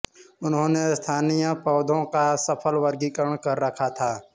उन्होंने स्थानीय पौधों का सफल वर्गीकरण कर रखा था